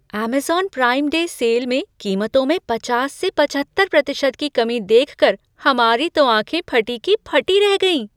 Amazon prime day sale में कीमतों में पचास से पचहत्तर प्रतिशत की कमी देखकर हमारी तो आंखें फटी की फटी रह गईं।